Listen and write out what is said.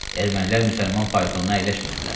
Ermənilər müsəlman faytonuna əyləşmirdilər.